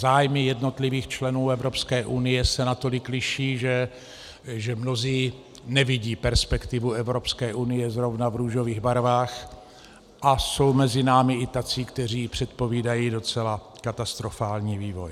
Zájmy jednotlivých členů Evropské unie se natolik liší, že mnozí nevidí perspektivu Evropské unie zrovna v růžových barvách, a jsou mezi námi i tací, kteří předpovídají docela katastrofální vývoj.